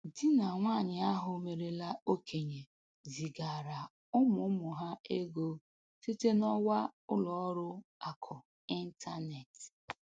Di na nwanyị ahụ merela okenye zigaara ụmụ ụmụ ha ego site n'ọwa ụlọ ọrụ akụ ịntaneetị